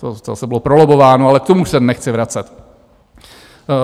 To zase bylo prolobbováno, ale k tomu se nechci vracet.